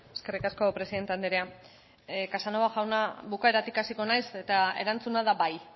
eskerrik asko presidente andrea casanova jauna bukaeratik hasiko naiz eta erantzuna da bai